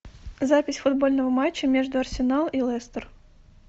запись футбольного матча между арсенал и лестер